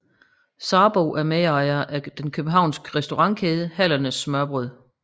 Sarbo er medejer af den københavnske restaurantkæde Hallernes Smørrebrød